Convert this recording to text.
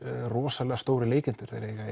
rosalega stórir leikendur þeir eiga